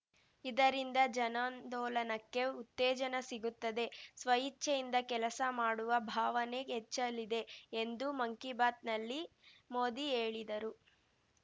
ಇದರಿಂದ ಜನಾಂದೋಲನಕ್ಕೆ ಉತ್ತೇಜನ ಸಿಗುತ್ತದೆ ಸ್ವಇಚ್ಛೆಯಿಂದ ಕೆಲಸ ಮಾಡುವ ಭಾವನೆ ಹೆಚ್ಚಲಿದೆ ಎಂದು ಮನ್‌ ಕಿ ಬಾತ್‌ನಲ್ಲಿ ಮೋದಿಹೇಳಿದರು